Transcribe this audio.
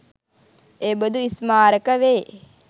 එබඳු ස්මාරක වේ.